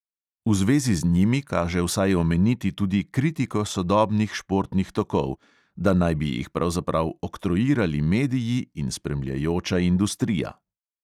V zvezi z njimi kaže vsaj omeniti tudi kritiko sodobnih športnih tokov: da naj bi jih pravzaprav oktroirali mediji in spremljajoča industrija.